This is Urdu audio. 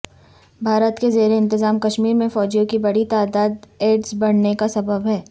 بھارت کے زیر انتظام کشمیر میں فوجیوں کی بڑی تعداد ایڈز بڑھنےکا سبب ہے